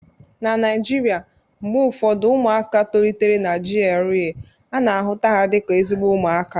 na Naijiria, mgbe ụfọdụ ụmụaka tolitere na GRA ana-ahụta dị ka ezigbo ụmụaka